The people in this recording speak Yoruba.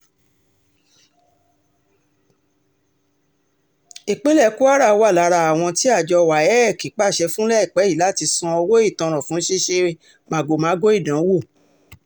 ìpínlẹ̀ kwara wà lára àwọn tí àjọ wafc um pàṣẹ fún láìpẹ́ yìí láti san owó ìtanràn fún ṣíṣe um màgòmágó ìdánwò